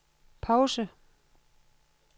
pause